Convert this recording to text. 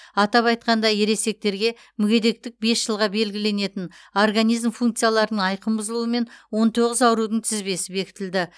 атап айтқанда ересектерге мүгедектік бес жылға белгіленетін организм функцияларының айқын бұзылуымен он тоғыз аурудың тізбесі бекітілді